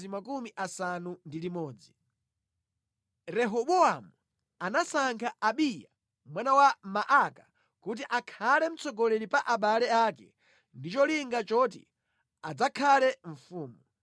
Rehobowamu anasankha Abiya mwana wa Maaka kuti akhale mtsogoleri pa abale ake, ndi cholinga choti adzakhale mfumu.